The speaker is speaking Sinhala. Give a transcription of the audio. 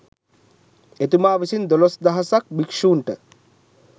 එතුමා විසින් දොළොස් දහසක් භික්‍ෂූන්ට